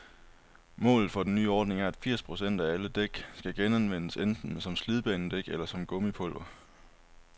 Målet for den nye ordning er, at firs procent af alle dæk skal genanvendes, enten som slidbanedæk eller som gummipulver.